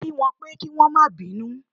Kí wọ́n pẹ́ kí wọ́n má bínú